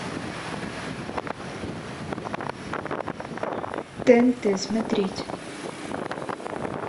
тнт смотреть